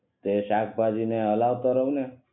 એ શાકભાજી ને હલાવતો રહું ને